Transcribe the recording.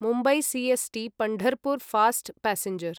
Mumbai C S T Pandharpur fast passenger